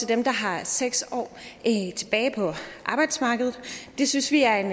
dem der har seks år tilbage på arbejdsmarkedet det synes vi er en